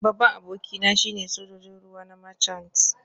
Babban abokina shine Sojojin ruwa na Marchant